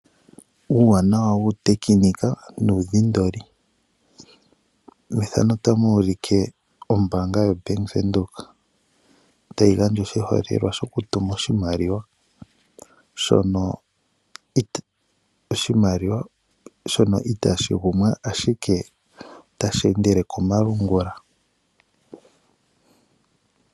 Uuwanawa wu tekenika nudhindoli ,otapa monika ombanga yo Bank Windhoek tayi gandja oshiholelwa shoku tuma oshimaliwa shono itashi kugumwa ashike otashi endele komalungula.